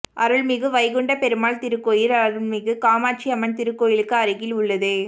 அருள்மிகு வைகுண்டப் பெருமாள் திருக்கோயில் அருள்மிகு காமாட்சி அம்மன் திருக்கோயிலுக்கு அருகில் உள்ளது